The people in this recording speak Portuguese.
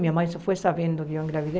Minha mãe só foi sabendo que eu engravidei.